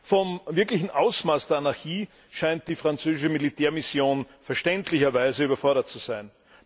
Vom wirklichen Ausmaß der Anarchie scheint die französische Militärmission verständlicherweise überfordert zu sein.